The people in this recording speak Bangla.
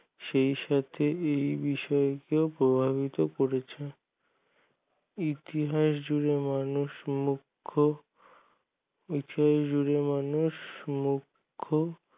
সেই সাথে এই বিষয় কে প্রভাবিত করেছে ইতিহাস যুগে মানুষ মোক্ষ ইতিহাস যুগে মানুষ মোক্ষ